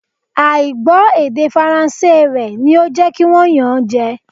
À ì gbọ́ èdè Faransé rẹ ni ó jẹ́ kí wọ́n yàn án jẹ